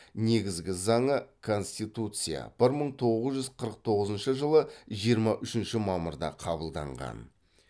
негізгі заңы конституция бір мың тоғыз жүз қырық тоғызыншы жылы жиырма үшінші мамырда қабылданған